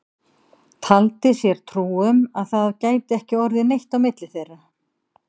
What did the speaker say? Taldi sér trú um að það gæti ekki orðið neitt á milli þeirra.